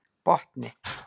Botni